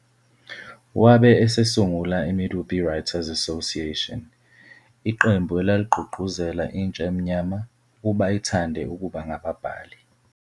Wabe esesungula i-Medupe Writers Association, iqembu elaligqugquzela intsha emnyama ukuba ithande ukuba ngababhali.